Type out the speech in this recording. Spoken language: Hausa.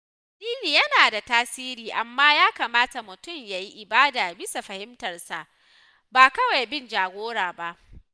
Addini yana da tasiri, amma ya kamata mutum ya yi ibada bisa fahimtarsa ba kawai bin jagora ba.